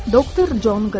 Doktor Con Qrey.